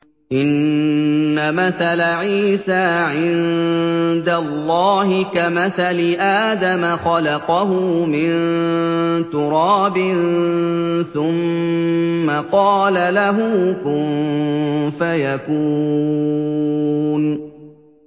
إِنَّ مَثَلَ عِيسَىٰ عِندَ اللَّهِ كَمَثَلِ آدَمَ ۖ خَلَقَهُ مِن تُرَابٍ ثُمَّ قَالَ لَهُ كُن فَيَكُونُ